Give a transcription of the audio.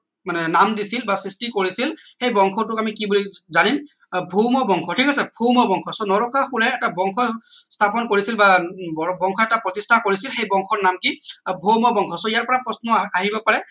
মানে নাম দিছিল বা সৃষ্টি কৰিছিল সেই বংশটোক আমি কি বুলি জানিম আহ ভৌম বংশ ঠিক আছে ভৌম বংশ so নৰকাসুৰে এটা বংশ স্থাপন কৰিছিল বা উম বংশ এটা প্ৰতিষ্ঠা কৰিছিল সেই বংশৰ নাম কি ভৌম বংশ so ইয়াৰ পৰা প্ৰশ্ন আহিব পাৰে